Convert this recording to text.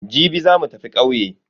Jibi za mu tafi ƙauye.